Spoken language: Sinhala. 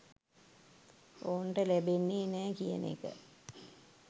ඔවුන්ට ලැබෙන්නේ නෑ කියන එක